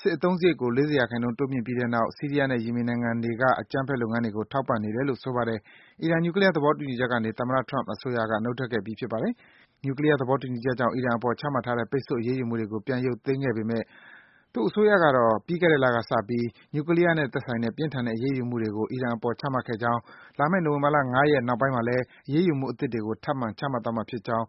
စစ်အသုံးစားရိတ်ကို ၄၀% တိုးမြင့်ပြီးတဲ့နောက် ဆီးရီးယားနဲ့ ယီမင်နိုင်ငံတွေက အကြမ်းဖက်လုပ်ငန်းတွေကို ထောက်ပံ့နေတယ်လို့ ဆိုပါတယ်။ အီရန် နျူကလီးယား သဘောတူညီချက်ကနေ သမ္မတ Trump အစိုးရက နုတ်ထွက်ခဲ့ပြီး ဖြစ်ပါတယ်။ နျူကလီးယား သဘောတူညီချက်ကြောင့် အီရန်အပေါ် ချမှတ်ထားတဲ့ ပိတ်ဆို့အရေးယူမှုတွေကို ပြန်ရုပ်သိမ်းပေးခဲ့ပေမယ့် သူ့အစိုးရကတော့ ပြီးခဲ့တဲ့လကစပြီး နျူကလီးယားနဲ့သက်ဆိုင်တဲ့ ပြင်းထန်တဲ့ အရေးယူမှုတွေကို ချမှတ်ခဲ့ကြောင်း၊ လာမယ့် နိုဝင်ဘာ ၅ ရက် နောက်ပိုင်းမှာလည်း အရေးယူမှုအသစ်တွေကို ထပ်မံ ချမှတ်သွားမှာဖြစ်ကြောင်း